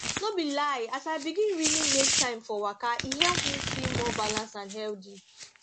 no be lie as i begin really make time for waka e help me feel more balanced and healthy